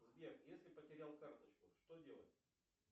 сбер если потерял карточку что делать